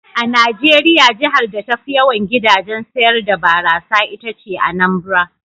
A Najeriya jihar da tafi yawan gidajen sayar da barasa ita ce Anambra.